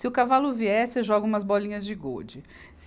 Se o cavalo vier, você joga umas bolinhas de gude.